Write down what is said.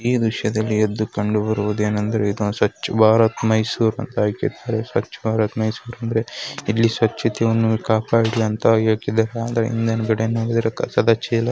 ಈ ದೃಶ್ಯದಲ್ಲಿ ಎದ್ದು ಕಂಡು ಬರುವುದೇನೆಂದರೆ ಇದು ಸ್ವಚ್ಛ ಭಾರತ್ ಮೈಸೂರ ಅಂತ ಹಾಕಿದ್ದಾರೆ ಸ್ವಚ್ಛ ಭಾರತ್ ಮೈಸೂರ ಅಂದ್ರೆ ಇಲ್ಲಿ ಸ್ವಚ್ಛತೆನು ಕಾಪಾಡ್ಲಿ ಅಂತ ಹೇಳತ್ತಿದೆ ಮೇಲಗಡೆ ನೋಡಿದ್ರೆ ಕಸದ ಚೀಲ --